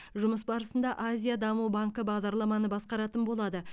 жұмыс барысында азия даму банкі бағдарламаны басқаратын болады